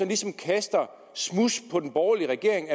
ligesom kaster smuds på den borgerlige regering